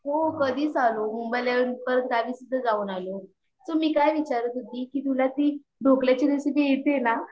हो कधीच आलो मुंबई ला आल्यावरून परत गावी सुद्धा जाऊन आलो तुम्ही काय विचारात होती कि तुला ती ढोकल्याची रेसिपी येते ना?